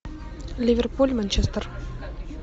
ливерпуль манчестер